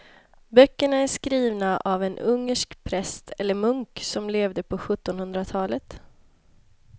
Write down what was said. Böckerna är skrivna av en ungersk präst eller munk som levde på sjuttonhundratalet.